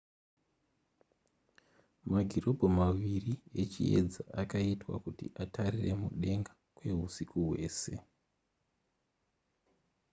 magirobho maviri echiyedza akaitwa kuti atarire mudenga kwehusiku hwese